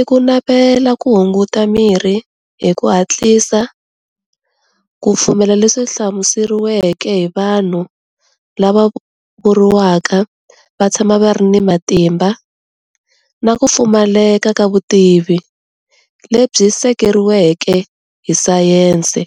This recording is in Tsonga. i ku navela ku hunguta mirhi hi ku hatlisa, ku fumela leswi hlamuseriweke hi vanhu lava vuriwaka va tshama va ri ni matimba na ku pfumaleka ka vutivi lebyi seketeriweke hi science.